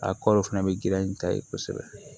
A kɔri fana bɛ girinya n ta ye kosɛbɛ